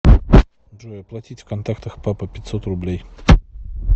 джой оплатить в контактах папа пятьсот рублей